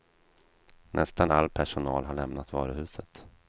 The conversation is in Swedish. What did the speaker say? Nästan all personal har lämnat varuhuset.